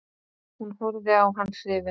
Hún horfði á hann hrifin.